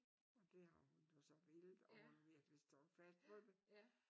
Og det har hun do så villet og hun har virkelig stået fast på det